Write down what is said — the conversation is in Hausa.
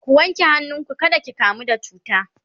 ku wanke hannu ku kada ki kamu da cuta!